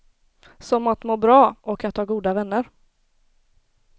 Som att må bra och att ha goda vänner.